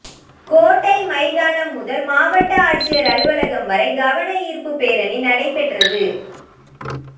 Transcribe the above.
கோட்டை மைதானம் முதல் மாவட்ட ஆட்சியர் அலுவலகம் வரை கவன ஈர்ப்பு பேரணி நடைபெற்றது